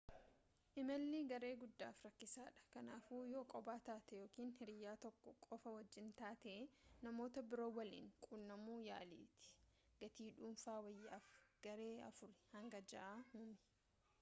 imalli garee guddaaf rakasa dha kanaafu yoo kophaa taate ykn hiriyaa tokko qofa wajjiin taate namoota biroo waliin qunnamu yaaliitii gatii dhuunfaa wayya'aaf garee afurii hanga ja'a uumi